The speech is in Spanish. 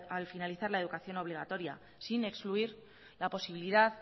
al finalizar la educación obligatoria sin excluir la posibilidad